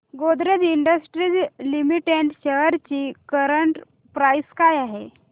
Godrej Industries Limited shares ची current price काय आहे